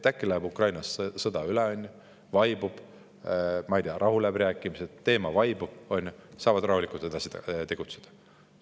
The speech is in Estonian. Äkki läheb Ukrainas sõda üle, vaibub, ma ei tea, tulevad rahuläbirääkimised, teema vaibub ja nad saavad rahulikult edasi tegutseda.